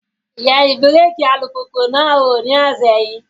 Yẹ ibẹ̀rẹ̀kì alùpùpù náà wò ní ọ̀sẹ̀ yìí.